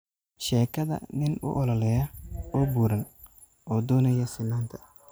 Sheekada nin u ololeeya oo buuran oo doonaya sinnaanta